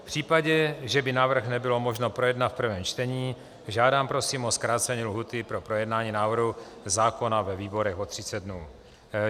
V případě, že by návrh nebylo možno projednat v prvním čtení, žádám prosím o zkrácení lhůty pro projednání návrhu zákona ve výborech o 30 dnů.